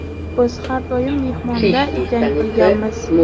Biz har doim mehmonda jang qilamiz.